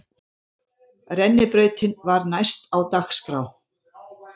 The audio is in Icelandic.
Rennibrautin var næst á dagskrá.